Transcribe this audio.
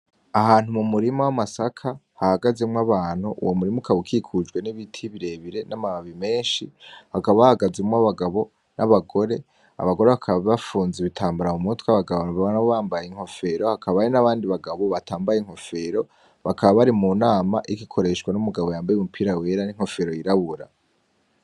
Ahantu mu murima w'amasaka hahagazemwo abantu uwo murima ukaba ukikujwe n'ibiti birebire n'amababi meshi hakaba hahagazemwo abagabo n'abagore, abagore bakaba bafunze ibitambara mu mutwe abagabo nabo bambaye inkofero hakabayo n'abandi bagabo batambaye inkofero bakaba bari mu nama iriko ikoreshwa n'umugabo yambaye umupira wera n'inkfero yirabura.